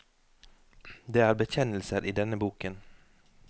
Det er bekjennelser i denne boken.